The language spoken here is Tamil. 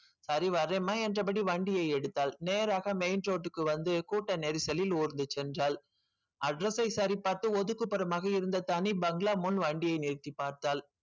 சரி வரேன்மா என்றபடி வண்டியை எடுத்தால் நேராக main road க்கு வந்து கூட்ட நெரிசலில் ஊர்ந்து சென்றாள் address சை சரி பார்த்து ஒதுக்குப்புறமாக இருந்த தனி பங்களா முன் வண்டிய நிறுத்தி பார்த்தாள்